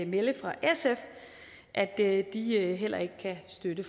melde fra sf at at de heller ikke kan støtte